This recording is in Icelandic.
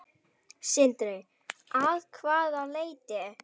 Sindri: Að hvaða leyti?